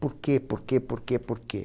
Por quê, por quê, por quê, por quê?